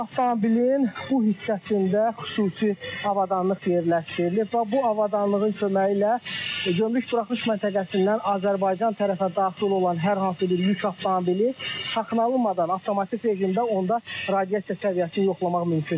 Bu avtomobilin bu hissəsində xüsusi avadanlıq yerləşdirilib və bu avadanlığın köməyi ilə gömrük buraxılış məntəqəsindən Azərbaycan tərəfə daxil olan hər hansı bir yük avtomobili saxlanılmadan avtomatik rejimdə onda radiasiya səviyyəsini yoxlamaq mümkündür.